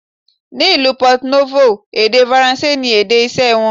Ni ìlú Pọto Nófò, èdè Faransé ni èdè iṣẹ́ wọn.